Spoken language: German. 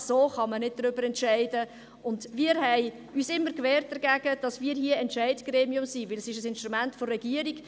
So kann man nicht darüber entscheiden, und wir haben uns immer dagegen gewehrt, hier Entscheidungsgremium zu sein, denn es ist ein Instrument der Regierung.